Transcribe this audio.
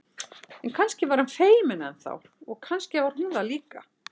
En kannski var hann feiminn enn þá og kannski var hún það líka.